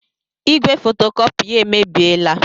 Igwe fotokopị ya emebiela.